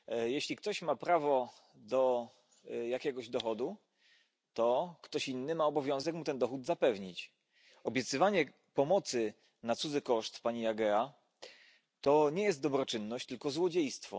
Pani Przewodnicząca! Jeśli ktoś ma prawo do jakiegoś dowodu, to ktoś inny ma obowiązek mu ten dowód zapewnić. Obiecywanie pomocy na cudzy koszt, pani Agea, to nie jest dobroczynność, tylko złodziejstwo.